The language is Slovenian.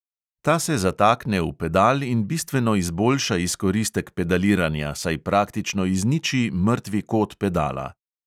Ta se zatakne v pedal in bistveno izboljša izkoristek pedaliranja, saj praktično izniči mrtvi kot pedala.